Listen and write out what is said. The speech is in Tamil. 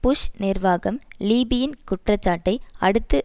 புஷ் நிர்வாகம் லீபியின் குற்றச்சாட்டை அடுத்து